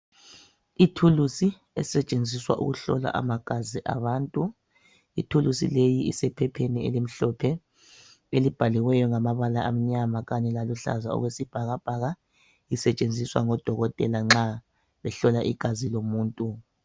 Ithuluzi esetshenziswa ukuhlola amagazi abantu. Ithuluzi leyi isephepheni elimhlophe elibhaliweyo ngamabala amnyama kanye laluhlaza okwesibhakabhaka isetshenziswa ngodokotela nxa behlola igazi lomuntu.